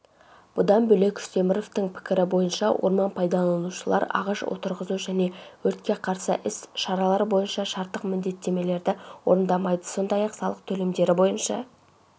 бұдан бөлек үстеміровтың пікірі бойынша орман пайдаланушылар ағаш отырғызу және өртке қарсы іс-шаралар бойынша шарттық міндеттемелерді орындамайды сондай-ақ салық төлемдері бойынша